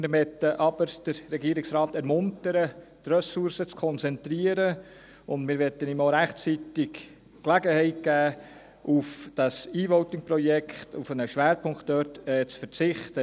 Wir möchten jedoch den Regierungsrat dazu ermuntern, die Ressourcen zu konzentrieren und ihm rechtzeitig die Gelegenheit geben, auf einen Schwerpunkt beim E-Voting-Projekt zu verzichten.